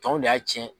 Tɔw de y'a tiɲɛ